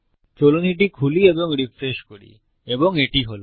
চলুন এটি খুলি এবং রিফ্রেশ করি এবং এটি হল